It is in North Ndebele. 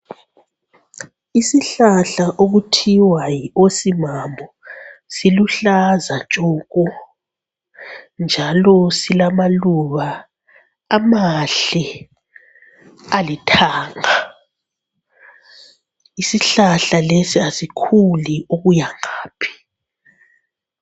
Isihlahla okuthiwa yi-osimamu siluhlaza tshoko njalo silamaluba amahle alithanga. Isihlahla lesi asikhuli okuyangaphi.